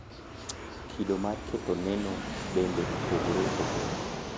Kido mar ketho neno bende opogore opogore.